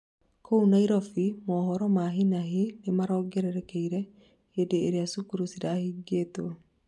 kũu Nairobi, mohoro ma hi na hi nĩmongererekeire hĩndĩ ĩria cukuru cirahingĩtwo